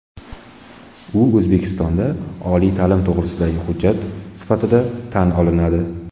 U O‘zbekistonda oliy ta’lim to‘g‘risidagi hujjat sifatida tan olinadi.